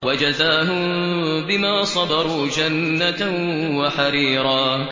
وَجَزَاهُم بِمَا صَبَرُوا جَنَّةً وَحَرِيرًا